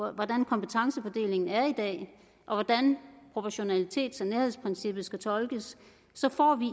af hvordan kompetencefordelingen er i dag og hvordan proportionalitets og nærhedsprincippet skal tolkes så får vi